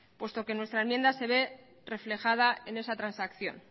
puesto que nuestra enmienda se ve reflejada en esa transacción